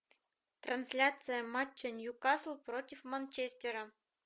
трансляция матча ньюкасл против манчестера